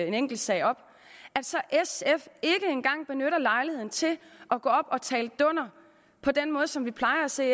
en enkelt sag op ikke engang benytter lejligheden til at gå op og tale dunder på den måde som vi plejer at se